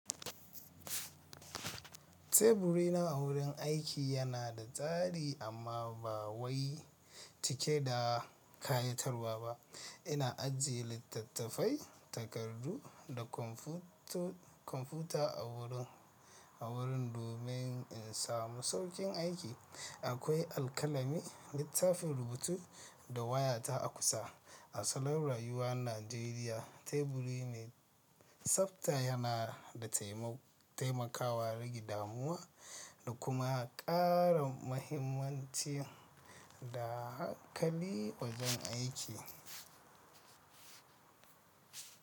Teburi na a wurin aiki yana da tsari amma ba wai cike da ƙayatarwa ba. Ina ajiye littattafai, takardu da kwamfuta a wurin, a wurin domin in samu sauƙin aiki. Akwai alkalami, littafin rubutu da waya ta a kusa. A salo rayuwa Najeriya, teburi me tsapta yana da taimakawa rage damuwa da kuma ƙara mahimmanci da hankali wajen aiki.